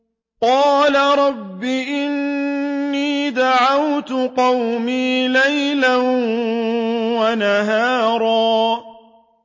قَالَ رَبِّ إِنِّي دَعَوْتُ قَوْمِي لَيْلًا وَنَهَارًا